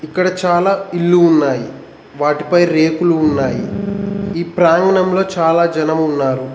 ఇక్కడ చాలా ఇల్లు ఉన్నాయి వాటిపై రేకులు ఉన్నాయి ఈ ప్రాంగణంలో చాలా జనం ఉన్నారు.